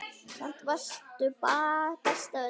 Samt varstu best af öllum.